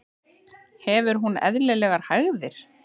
Hefur hún eðlilegar hægðir?